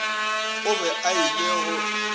o be a ile go